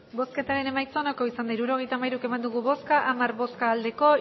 hirurogeita hamairu eman dugu bozka hamar bai